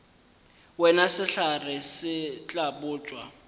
wena sehlare se tla botšwa